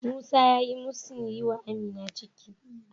Musa ya musun yi wa Amina ciki.